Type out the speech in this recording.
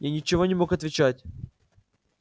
я ничего не мог отвечать